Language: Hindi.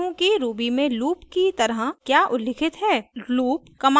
अब मैं समझाती हूँ कि ruby में loop की तरह क्या उल्लिखित है